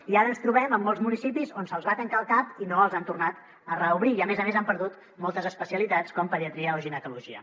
i ara ens trobem amb molts municipis on se’ls va tancar el cap i no els hi han tornat a reobrir i a més a més han perdut moltes especialitats com pediatria o ginecologia